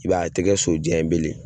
I b'a ye a ti kɛ so jan ye bile